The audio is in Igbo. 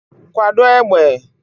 Kwado égbè!